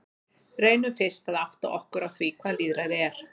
Reynum fyrst að átta okkur á því hvað lýðræði er.